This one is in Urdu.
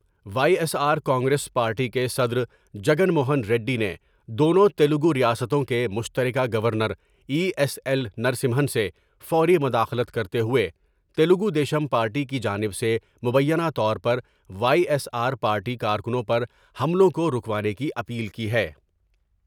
وائی ایس آرکانگریس پارٹی کے صدر جگن موہن ریڈی نے دونوں تلگور یا ستوں کے مشتر کہ گورنرای ایس ایل نرسمہن سے فوری مداخلت کرتے ہوئے تلگو دیشم پارٹی کی جانب سے مبینہ طور پر وائی ایس آر پارٹی کارکنوں پر حملوں کو روکوانے کی اپیل کی ہے ۔